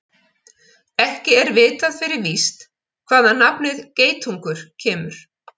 Ekki er vitað fyrir víst hvaðan nafnið geitungur kemur.